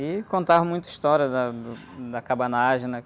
E contavam muita história da, do, da cabanagem, né?